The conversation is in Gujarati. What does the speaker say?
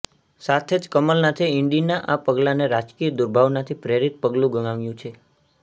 સાથે જ કમલનાથે ઇડીના આ પગલાને રાજકીય દુર્ભાવનાથી પ્રેરિત પગલું ગણાવ્યું છે